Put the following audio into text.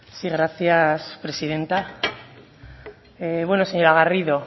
sí gracias presidenta bueno señora garrido